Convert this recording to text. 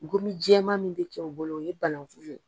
Gominjɛman min bɛ kɛ u bolo, o ye bananku ye.